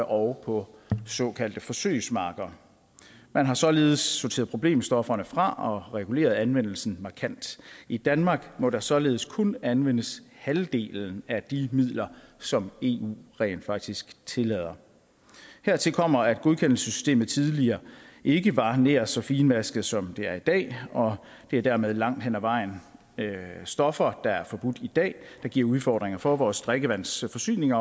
og på såkaldte forsøgsmarker man har således sorteret problemstofferne fra og reguleret anvendelsen markant i danmark må der således kun anvendes halvdelen af de midler som eu rent faktisk tillader hertil kommer at godkendelsessystemet tidligere ikke var nær så finmasket som det er i dag og det er dermed langt hen ad vejen stoffer der er forbudt i dag der giver udfordringer for vores drikkevandsforsyning